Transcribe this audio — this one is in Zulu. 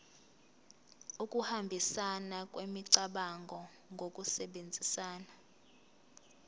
ukuhambisana kwemicabango ngokusebenzisa